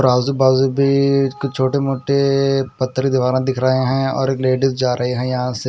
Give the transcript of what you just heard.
आज़ू-बाज़ू भी कुछ छोटे-मोटे ए ए मोटे पतर दिख रहे है और एक लेडीज़ जा रही है यहाँ से--